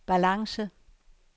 balance